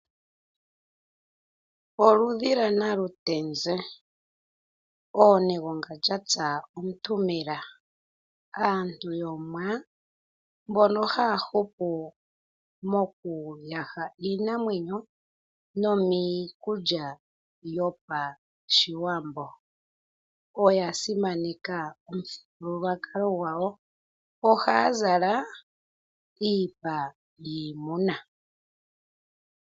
Oludhi lwa namutenzi ,oonegonga dhatsa omuntu mela . Aantu yomuwa mbono haya hupu mokuyaha iinamwenyo nomiikulya yo pashiwambo . Oya simaneka omuthigululwakalo gwawo. Ohaya zala iipa yiimuna.